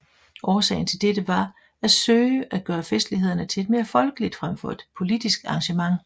Årsagen til dette var at søge at gøre festlighederne til et mere folkeligt frem for et politisk arrangement